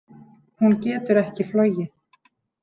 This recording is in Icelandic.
Hún getur ekki flogið.